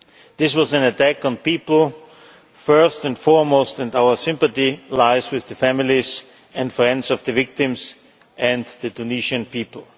This was an attack on people, first and foremost, and our sympathy lies with the families and friends of the victims and the Tunisian people.